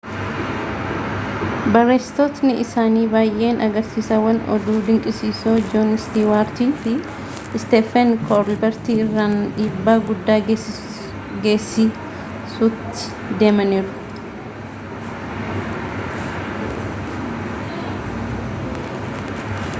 barreessitootni isaanii baayeen agarsiisawwan oduu dinqisiisoo joon istiwaartii fi isteefen koolberti irraan dhiibbaa guddaa geessisuutti deemaniiru